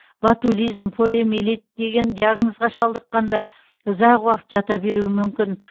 ботулизм полиомелит деген диагнозға шалдыққандар ұзақ уақыт жата беруі мүмкін